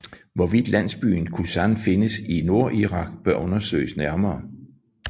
Hvorvidt landsbyen Kusan findes i Nordirak bør undersøges nærmere